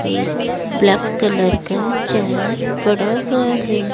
एक black colour का chair पड़ा हुआ है।